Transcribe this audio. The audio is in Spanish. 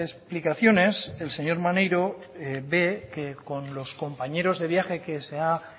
explicaciones el señor maneiro ve que con los compañeros de viaje que se ha